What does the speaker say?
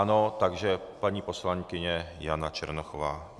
Ano, takže paní poslankyně Jana Černochová.